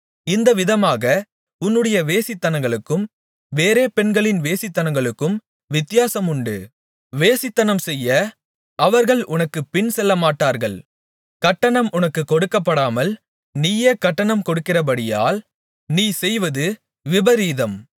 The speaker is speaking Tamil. இந்த விதமாக உன்னுடைய வேசித்தனங்களுக்கும் வேறே பெண்களின் வேசித்தனங்களுக்கும் வித்தியாசமுண்டு வேசித்தனம்செய்ய அவர்கள் உனக்குப் பின்செல்லமாட்டார்கள் கட்டணம் உனக்குக் கொடுக்கப்படாமல் நீயே கட்டணம் கொடுக்கிறபடியால் நீ செய்வது விபரீதம்